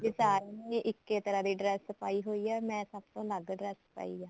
ਵੀ ਸਾਰੀਆਂ ਨੇ ਇੱਕ ਏ ਤਰ੍ਹਾਂ ਦੀ dress ਪਾਈ ਹੋਈ ਏ ਮੈਂ ਸਭ ਤੋਂ ਅਲੱਗ dress ਪਾਈ ਐ